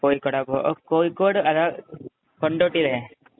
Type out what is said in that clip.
കോഴിക്കോടാ, കോഴിക്കോട്കൊണ്ടോട്ടി അല്ലെ?